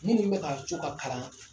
Minnu bɛ ka co ka kalan